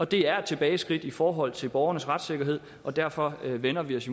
det er et tilbageskridt i forhold til borgernes retssikkerhed og derfor vender vi os